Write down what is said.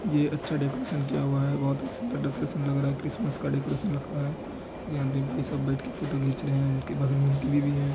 ये अच्छा डेकोरेशन किया हुआ है बोहोत ही सुन्दर डेकोरेशन लग रहा है क्रिसमस का डेकोरेशन लग रहा है यह भाई सब बैठ के फोटो खींच रहे है उनके बगल में उनकी बीवी है।